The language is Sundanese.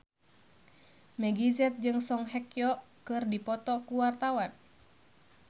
Meggie Z jeung Song Hye Kyo keur dipoto ku wartawan